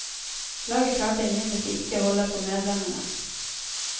Laget klarte imidlertid ikke å holde på medlemmene.